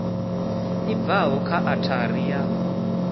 i bvaho kha othari ya